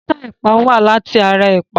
Bọ́tà ẹ̀pà wá láti ara ẹ̀pà.